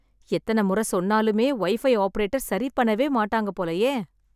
எத்தனை முறை சொன்னாலுமே, வைஃபை ஆப்ரேட்டர் சரி பண்ணவே மாட்டாங்க போலயே.